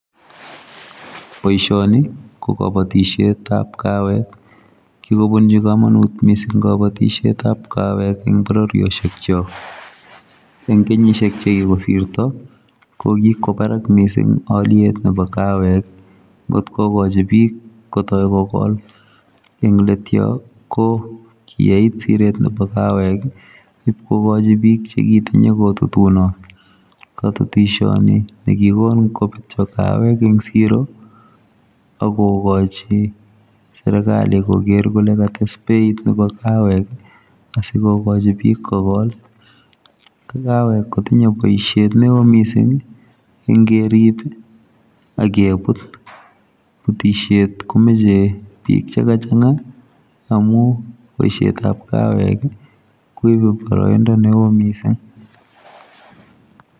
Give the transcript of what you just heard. Boisoni, ko kabatishetab kawek. Kikobunchi komonut missing kabatishetab kawek eng' bororioshek chok. Eng' kenyishiek che kikosirto, kokikwo barak missing aliet nebo kawek, ng'ot kokochi biik kotai kogol, eng' leet yoo, ko kiyait siret nebo kawek. Ibkokochi biik che kitinye kotutunot. Katutishiot ni ne kikon kobetyo kawek eng' siro, akogochi serikali koger kole kates beit nebo kawek, asikogochi biik kogol. Ko kawek kotinye boisiet neoo missing, ng'erib agebut, butishiet komeche biik che kachang'a, amuu boisietab kawek koibe boroindo neoo missing